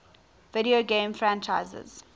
video game franchises